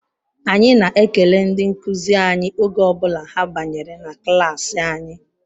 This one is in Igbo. Anyị na-ekele ndị nkuzi anyị oge ọ bụla ha banyere na klaasị anyị